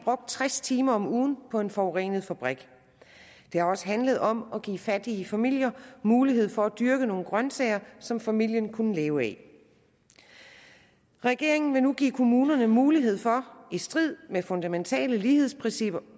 tres timer om ugen på en forurenet fabrik det har også handlet om at give fattige familier mulighed for at dyrke nogle grønsager som familien kunne leve af når regeringen nu vil give kommunerne mulighed for i strid med fundamentale lighedsprincipper